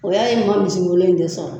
O y'a ye man misi mulu in de sɔrɔ.